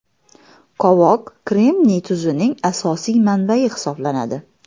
Qovoq kremniy tuzining asosiy manbayi hisoblanadi.